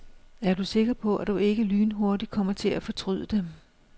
Er du sikker på, at du ikke lynhurtigt kommer til at fortryde det.